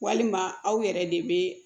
Walima aw yɛrɛ de bɛ